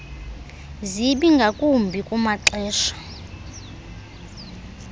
zibi ngakumbi kumaxesha